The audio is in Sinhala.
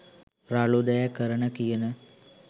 රළු දෑ කරන කියන